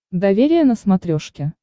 доверие на смотрешке